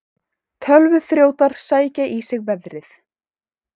Tölvuþrjótar sækja í sig veðrið